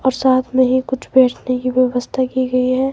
और साथ में ही कुछ बेचने की व्यवस्था की गई है।